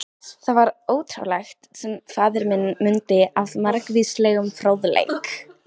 Það var ótrúlegt, sem faðir minn mundi af margvíslegum fróðleik.